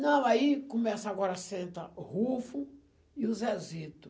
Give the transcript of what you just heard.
Não, aí começa agora senta o Rufo e o Zezito.